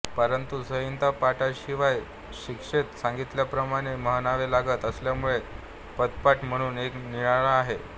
परंतु संहितापाठाशिवाय शिक्षेंत सांगितल्याप्रमाणें म्हणावें लागत असल्यामुळें पदपाठ म्हणून एक निराळा आहे